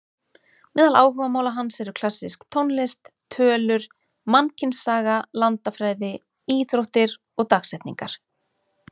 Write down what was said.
Meðal áhugamála hans eru klassísk tónlist, tölur, mannkynssaga, landafræði, íþróttir og dagsetningar.